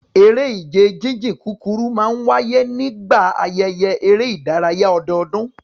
Eré ìje jíjìn kúkúrú máa ń wáyé nígbà ayẹyẹ eré ìdárayá ọdọọdún